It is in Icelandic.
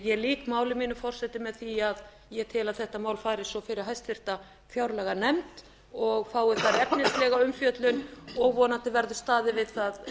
ég lýk máli mínu forseti með því að ég tel að þetta mál fari fyrir háttvirta fjárlaganefnd og fái þar efnislega umfjöllun og vonandi verður staðið við það